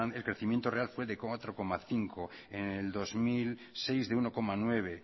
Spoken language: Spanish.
el crecimiento real fue de cuatro coma cinco en el dos mil seis de uno coma nueve